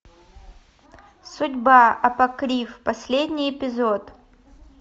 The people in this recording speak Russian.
судьба апокриф последний эпизод